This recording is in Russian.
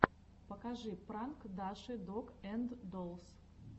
покажи пранк даши дог энд доллс